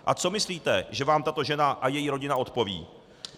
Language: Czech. A co myslíte, že vám tato žena a její rodina odpoví?